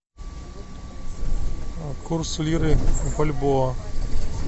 курс лиры в бальбоа